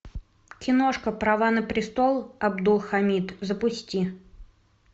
киношка права на престол абдулхамид запусти